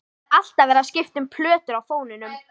Það er alltaf verið að skipta um plötur á fóninum.